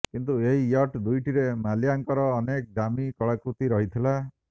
କିନ୍ତୁ ଏହି ୟଟ୍ ଦୁଇଟିରେ ମାଲ୍ୟାଙ୍କର ଅନେକ ଦାମୀ କଳାକୃତି ରହିଥିଲା